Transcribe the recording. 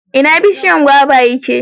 ina bishiyan gwaba ya ke?